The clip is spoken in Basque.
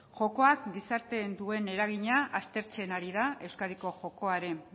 jokoak gizartean duen eragina aztertzen ari da euskadiko jokoaren